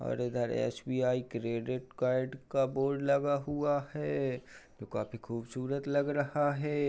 और इधर SBI credit card का बोर्ड लगा हुआ है जो काफी खूबसूरत लग रहा है।